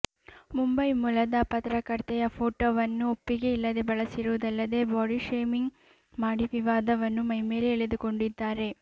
ಮುಂಬೈ ಮೂಲದ ಪತ್ರಕರ್ತೆಯ ಫೋಟೋವನ್ನು ಒಪ್ಪಿಗೆ ಇಲ್ಲದೆ ಬಳಸಿರುವುದಲ್ಲದೆ ಬಾಡಿ ಶೇಮಿಂಗ್ ಮಾಡಿ ವಿವಾದವನ್ನು ಮೈಮೇಲೆ ಎಳೆದುಕೊಂಡಿದ್ದಾರೆ